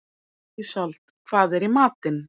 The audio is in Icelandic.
Ísold, hvað er í matinn?